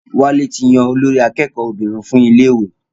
Wálé ti yan olórí akẹ́kọ̀ọ́ obìnrin fún iléèwé